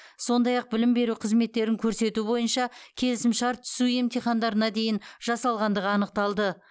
сондай ақ білім беру қызметтерін көрсету бойынша келісімшарт түсу емтихандарына дейін жасалғандығы анықталды